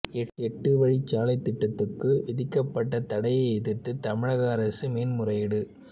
எட்டு வழிச்சாலை திட்டத்துக்கு விதிக்கப்பட்ட தடையை எதிர்த்து தமிழக அரசு மேன்முறையீடு